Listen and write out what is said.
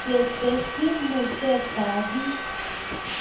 ketesyi mutetab biik